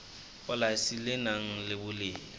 polasi le nang le boleng